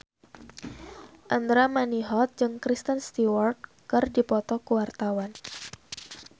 Andra Manihot jeung Kristen Stewart keur dipoto ku wartawan